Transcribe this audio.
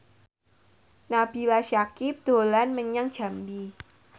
Nabila Syakieb dolan menyang Jambi